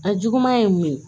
A juguman ye mun ye